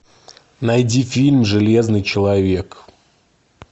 найди фильм железный человек